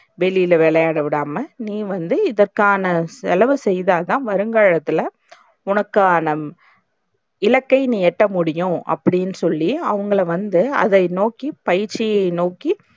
வெளில விளையாட விடாம நீ வந்து இதுக்கான செலவு செய்தாதான் வருங்காலத்துல உனக்கான இலக்கை நீ எட்ட முடியும் அப்டின்னு சொல்லி அவங்கள வந்து அதை நோக்கி பயிற்சியைநோக்கி